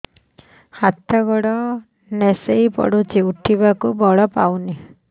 ହାତ ଗୋଡ ନିସେଇ ପଡୁଛି ଉଠିବାକୁ ବଳ ପାଉନି